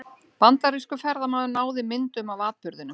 Bandarískur ferðamaður náði myndum af atburðinum